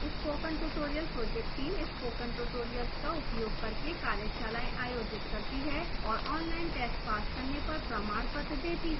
spoken tutorial project team spoken tutorials का उपयोग करके कार्यशालाएँ आयोजित करती है और ऑनलाइन टेस्ट पास करने पर प्रमाणपत्र देती है